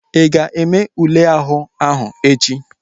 Ị ga-eme ule àhú áhụ̀ echi?